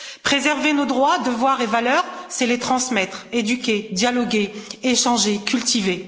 Préserver nos droits, devoirs et valeurs, c'est les transmettre, éduquer, dialoguer, échanger, cultiver.